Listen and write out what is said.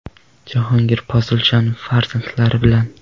Jahongir Poziljonov farzandlari bilan.